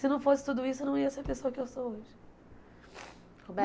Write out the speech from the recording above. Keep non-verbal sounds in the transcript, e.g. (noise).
Se não fosse tudo isso, eu não ia ser a pessoa que eu sou hoje. (sniffs) né